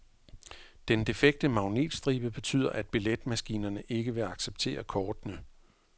Den defekte magnetstribe betyder, at billetmaskinerne ikke vil acceptere kortene.